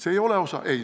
See ei ole osalus.